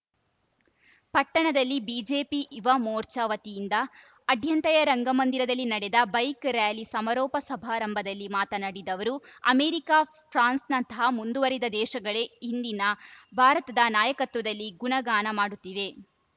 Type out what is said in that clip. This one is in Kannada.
ಪಟ್ಟಣದಲ್ಲಿ ಬಿಜೆಪಿ ಯುವ ಮೋರ್ಚಾ ವತಿಯಿಂದ ಅಡ್ಯಂತಯ ರಂಗಮಂದಿರದಲ್ಲಿ ನಡೆದ ಬೈಕ್‌ ರ್ಯಾಲಿ ಸಮಾರೋಪ ಸಮಾರಂಭದಲ್ಲಿ ಮಾತನಾಡಿದ ಅವರು ಅಮೆರಿಕ ಫ್ರಾನ್ಸ್‌ನಂತಹ ಮುಂದುವರಿದ ದೇಶಗಳೇ ಇಂದಿನ ಭಾರತದ ನಾಯಕತ್ವದಲ್ಲಿ ಗುಣಗಾನ ಮಾಡುತ್ತಿವೆ